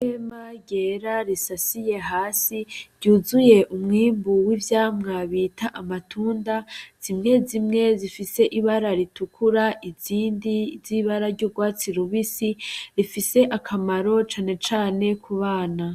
Ihema ryera risasiye hasi ryuzuye umwimbu w'ivyamwa bita amatunda, zimwe zimwe zifise ibara ritukura, izindi z'ibara ry'urwatsi rubisi . Rifise akamaro cane cane ku bana.